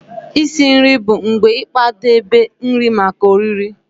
Isi nri bụ mgbe ịkwadebe nri maka oriri.